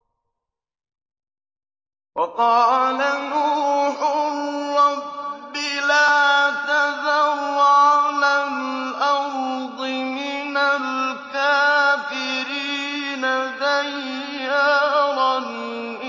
وَقَالَ نُوحٌ رَّبِّ لَا تَذَرْ عَلَى الْأَرْضِ مِنَ الْكَافِرِينَ دَيَّارًا